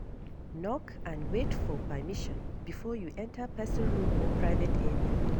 Knock and wait for permission before you enter person room or private area